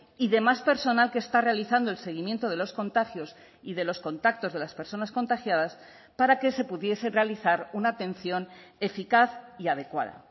y demás personal que está realizando el seguimiento de los contagios y de los contactos de las personas contagiadas para que se pudiese realizar una atención eficaz y adecuada